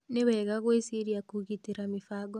Ni wega gwĩciria kũgitĩra mĩbango.